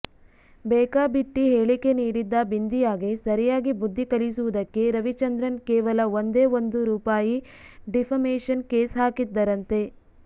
ಬೇಕಾಬಿಟ್ಟಿ ಹೇಳಿಕೆ ನೀಡಿದ್ದ ಬಿಂದಿಯಾಗೆ ಸರಿಯಾಗಿ ಬುದ್ಧಿ ಕಲಿಸುವುದಕ್ಕೆ ರವಿಚಂದ್ರನ್ ಕೇವಲ ಒಂದೇ ಒಂದು ರೂಪಾಯಿ ಡಿಫಮೇಷನ್ ಕೇಸ್ ಹಾಕಿದ್ದರಂತೆ